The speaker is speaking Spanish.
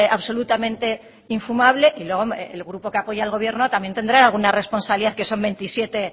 absolutamente infumable y luego el grupo que apoya al gobierno también tendrá alguna responsabilidad que son veintisiete